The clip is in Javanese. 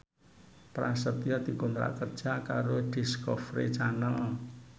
Prasetyo dikontrak kerja karo Discovery Channel